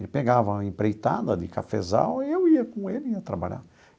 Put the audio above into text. Ele pegava uma empreitada de cafezal e eu ia com ele, ia trabalhar.